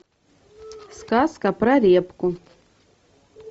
сказка про репку